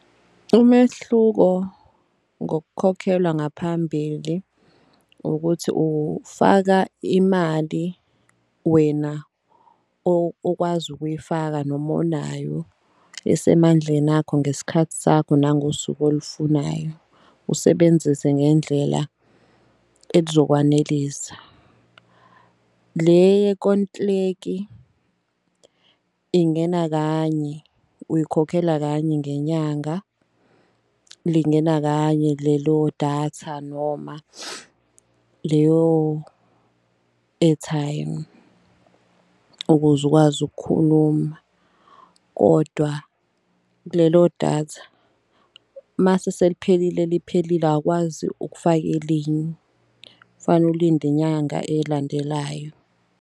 Umehluko ngokukhokhelwa ngaphambili ukuthi ufaka imali wena okwazi ukuyifaka noma onayo esemandleni akho. Ngesikhathi sakho nangosuku olufunayo, usebenzise ngendlela elizokwanelisa. Le ingena kanye uyikhokhela kanye ngenyanga, lingena kanye lelo datha noma leyo airtime. Ukuze ukwazi ukukhuluma kodwa kulelo datha mase seliphelile liphelile awukwazi ukufaka elinye kufana ulinde inyanga elandelayo.